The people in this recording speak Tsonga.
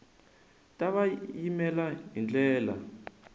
ta va yimela hi ndlela